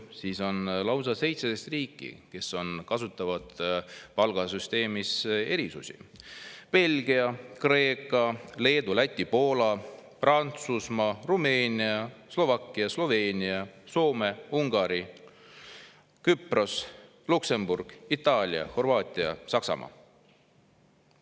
Siis on lausa 17 riiki, kes kasutavad palgasüsteemis erisusi: Belgia, Kreeka, Leedu, Läti, Poola, Prantsusmaa, Rumeenia, Slovakkia, Sloveenia, Soome, Ungari, Küpros, Luksemburg, Itaalia, Horvaatia, Saksamaa,.